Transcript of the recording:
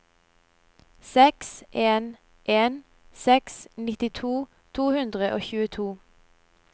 seks en en seks nittito to hundre og tjueto